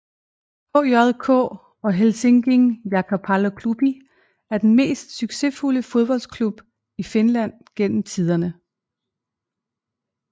HJK eller Helsingin Jalkapalloklubi er den mest succesfulde fodboldklub i Finland gennem tiderne